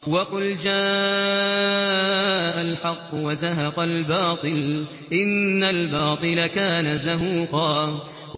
وَقُلْ جَاءَ الْحَقُّ وَزَهَقَ الْبَاطِلُ ۚ إِنَّ الْبَاطِلَ كَانَ زَهُوقًا